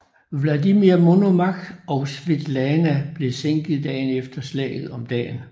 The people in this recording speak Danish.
Vladimir Monomakh og Svetlana blev sænket dagen efter slaget om dagen